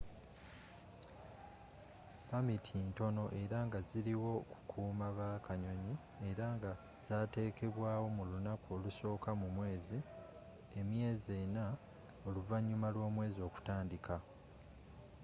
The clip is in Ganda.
pamiti ntono era nga ziliwo kukuuma ba kanyoni era ngazatekebwawo mu lunaku olusooka mu mwezi emyezi ena oluvanyuma lwomwezi okutandika